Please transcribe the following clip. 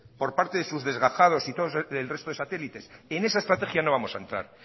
por parte de sus desgajados y el resto de satélites en esa estrategia no vamos a entrar